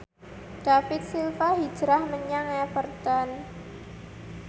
David Silva hijrah menyang Everton